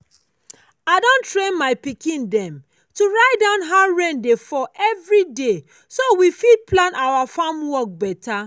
i don train my pikin dem to write down how rain dey fall every day so we fit plan our farm work better.